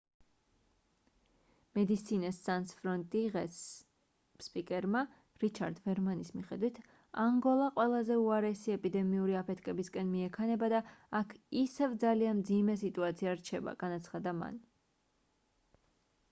medecines sans frontiere-ის სპიკერმა რიჩარდ ვერმანის მიხედვით: ანგოლა ყველაზე უარესი ეპიდემიური აფეთქებისკენ მიექანება და აქ ისევ ძალიან მძიმე სიტუაცია რჩება — განაცხადა მან